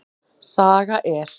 Saga er.